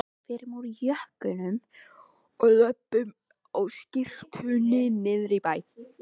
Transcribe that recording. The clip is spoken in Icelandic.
Förum úr jökkunum og löbbum á skyrtunni niðrí miðbæ!